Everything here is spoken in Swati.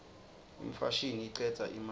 imfashini icedza imali